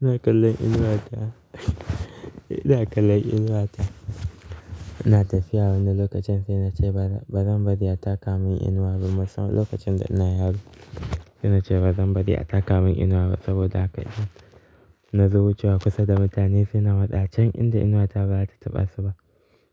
Ina kallon inuwa ta. Ina kallon inuwa ta. Ina tafiya wani lokacin sai na ce ba zan bari a taka mun inuwa ba musamman lokacin da ina yaro. Sai na ce ba zan bari a taka mun inuwa ba saboda haka in na zo wucewa kusa da mutane se na matsa can inda inuwa ta ba zata taɓa su ba.